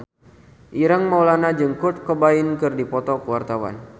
Ireng Maulana jeung Kurt Cobain keur dipoto ku wartawan